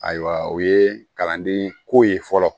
Ayiwa o ye kalanden ko ye fɔlɔ